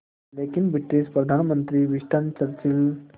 लेकिन ब्रिटिश प्रधानमंत्री Winston Churchill